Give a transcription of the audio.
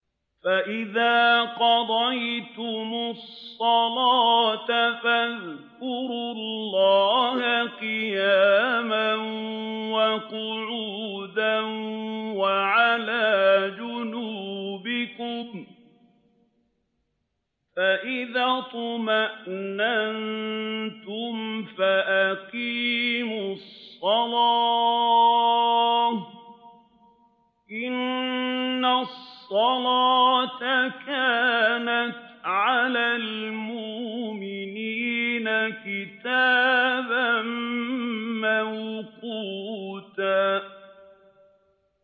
فَإِذَا قَضَيْتُمُ الصَّلَاةَ فَاذْكُرُوا اللَّهَ قِيَامًا وَقُعُودًا وَعَلَىٰ جُنُوبِكُمْ ۚ فَإِذَا اطْمَأْنَنتُمْ فَأَقِيمُوا الصَّلَاةَ ۚ إِنَّ الصَّلَاةَ كَانَتْ عَلَى الْمُؤْمِنِينَ كِتَابًا مَّوْقُوتًا